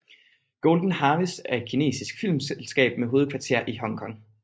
Golden Harvest er et kinesisk filmselskab med hovedkvarter i Hong Kong